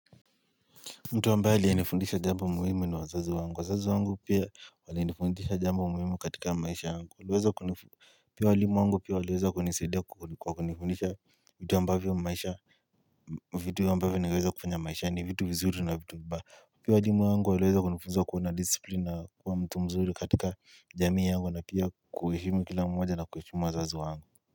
Mtu ambaye aliyenifundisha jambo muhimu ni wazazi wangu. Wazazi wangu pia walinifundisha jambo muhimu katika maisha yangu. Pia walimu wangu pia waliweza kunisidia kwa kunifundisha vitu ambavyo maisha naweza kufanya maishani vitu vizuri na vitu vibaya. Pia walimu wangu waliweza kunifundisha kuwa na discipline na kuwa mtu mzuri katika jamii yangu na pia kuheshimu kila mmoja na kuheshimu wazazi wangu.